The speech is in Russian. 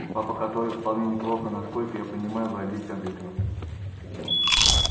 папа который вполне неплохо насколько я понимаю владеет компьютером